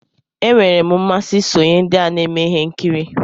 Enwere m mmasị isonye ndị na-eme ihe nkiri.